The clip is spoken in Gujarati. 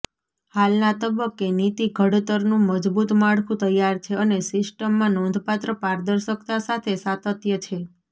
હાલના તબક્કે નીતિ ઘડતરનું મજબૂત માળખું તૈયાર છે અને સિસ્ટમમાં નોંધપાત્ર પારદર્શકતા સાથે સાતત્ય છે